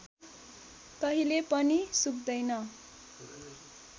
कहिले पनि सुक्दैन